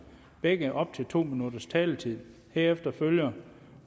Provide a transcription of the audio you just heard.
begge op til to minutters taletid og herefter følger